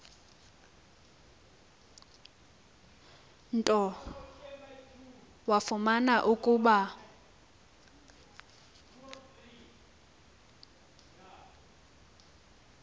nto wafumana ukuba